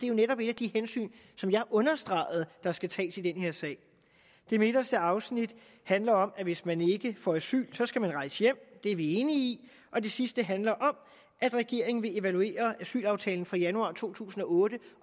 jo netop et af de hensyn som jeg understregede at der skal tages i den her sag det midterste afsnit handler om at hvis man ikke får asyl skal man rejse hjem det er vi enige i og det sidste handler om at regeringen vil evaluere asylaftalen fra januar to tusind og otte